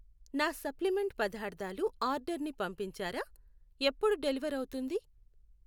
నా సప్లిమెంట్ పదార్థాలు ఆర్డర్ ని పంపించారా ? ఎప్పుడు డెలివర్ అవుతుంది?